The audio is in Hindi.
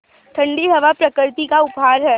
ठण्डी हवा प्रकृति का उपहार है